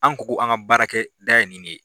An ko k'an ka baara kɛ da ye nin de ye.